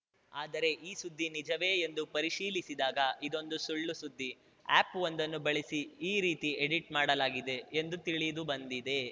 ಆದರೆ ಈ ಸುದ್ದಿ ನಿಜವೇ ಎಂದು ಪರಿಶೀಲಿಸಿದಾಗ ಇದೊಂದು ಸುಳ್ಳುಸುದ್ದಿ ಆ್ಯಪ್‌ವೊಂದನ್ನು ಬಳಸಿ ಈ ರೀತಿ ಎಡಿಟ್‌ ಮಾಡಲಾಗಿದೆ ಎಂದು ತಿಳಿದುಬಂದಿದೆ